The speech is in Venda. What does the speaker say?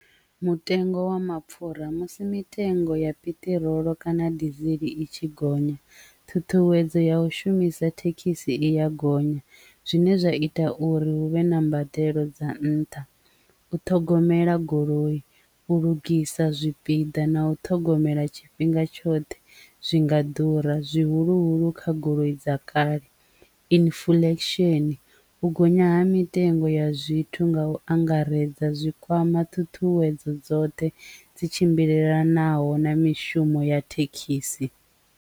Mutengo wa mapfura musi mitengo ya piṱirolo kana dizili i tshi gonya ṱhuṱhuwedzo ya u shumisa thekhisi i ya gonya zwine zwa ita uri hu vhe na mbadelo dza nṱha, u ṱhogomela goloi u lugisa zwipiḓa na u ṱhogomela tshifhinga tshoṱhe zwi nga ḓura zwihuluhulu kha goloi dza kale, inifulesheni u gonya ha mitengo ya zwithu nga u angaredza zwikwama thuthuwedzo dzoṱhe dzi tshimbilelanaho na mishumo ya thekhisi.